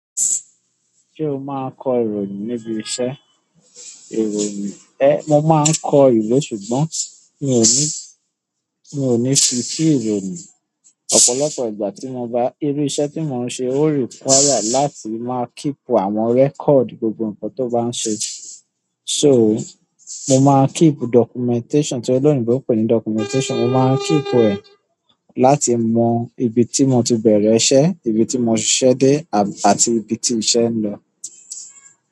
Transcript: Ṣé o máa kọ ìròyìn níbi iṣẹ́ ìròyìn? Ẹ, mo máa kọ ìwé ṣùgbọ́n mi ò ní, mi ò ní fi sí ìròyìn. Ọ̀pọ̀lọpọ̀ ìgbà tí mo bá, irú iṣẹ́ tí mò ń ṣe ó require láti máa keep àwọn record gbogbo ǹkan tó bá ń ṣe. So, mo máa n keep documentation, tí oloyinbo pè ní documentation, mo máa keep ẹ láti mọ ibi tí mò ti bẹ̀rẹ̀ iṣẹ́, ibi tí mò ṣiṣẹ́ dé àti ibi tí iṣẹ́ ń lọ.